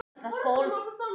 Litli einfarinn okkar.